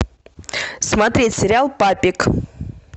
смотреть сериал папик